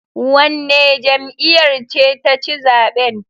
Wanne jam'iyar ce ta ci zaben